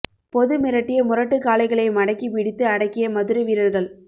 பொது மிரட்டிய முரட்டு காளைகளை மடக்கி பிடித்து அடக்கிய மதுரை வீரர்கள்